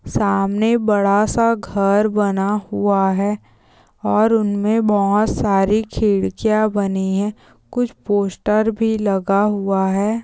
सामने बड़ा सा घर बना हुआ है और उनमें बोहत सारी खिड़कियां बनी है कुछ पोस्टर भी लगा हुआ है।